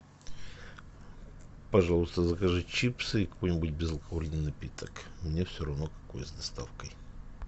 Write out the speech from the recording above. пожалуйста закажи чипсы и какой нибудь безалкогольный напиток мне все равно какой с доставкой